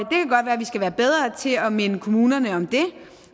vi skal være bedre til at minde kommunerne om det